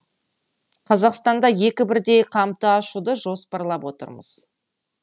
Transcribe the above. қазақстанда екі бірдей кампты ашуды жоспарлап отырмыз